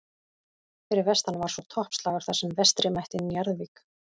Fyrir vestan var svo toppslagur þar sem Vestri mætti Njarðvík.